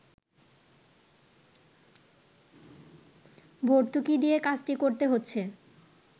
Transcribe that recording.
ভর্তুকি দিয়ে কাজটি করতে হচ্ছে